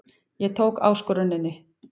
Ég tók áskoruninni.